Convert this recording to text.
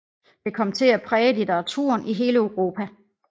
Det kom til at præge litteraturen i hele Europa